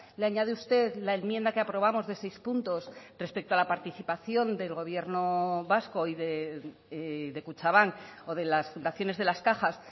le añade usted la enmienda que aprobamos de seis puntos respecto a la participación del gobierno vasco y de kutxabank o de las fundaciones de las cajas